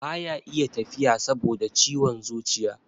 baya iya tafiya saboda ciwon zuciya